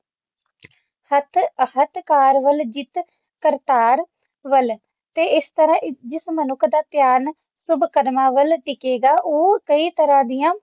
ਹੱਥ ਕਾਰ ਵੱਲ ਤੇ ਦਿਲ ਕਰਤਾਰ ਵੱਲ ਤੇ ਇਸ ਤਰਾਂ ਜਿਸ ਮਨੁੱਖ ਦਾ ਧਿਆਨ ਸ਼ੁਭ ਕਦਮਾ ਵੱਲ ਟਿਕੇਗਾ ਉਹ ਕਈ ਤਰ੍ਹਾਂ ਦੀਆਂ